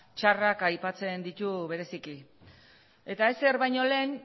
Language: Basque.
txarrak aipatzen ditu bereziki eta ezer baino lehen